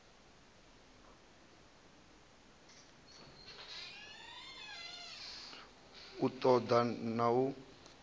u ṱo ḓa na u